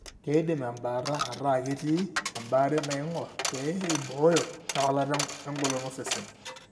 Keidim embaata ataa ketii embaare naing'or pee eibooyo ewalata engolon osesen.